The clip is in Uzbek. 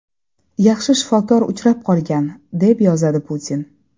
Yaxshi shifokor uchrab qolgan”, - deb yozadi Putin.